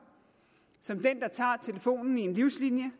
til den der tager telefonen i en livslinje